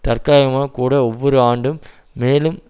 தற்காலிகமாகக் கூட ஒவ்வொரு ஆண்டும் மேலும்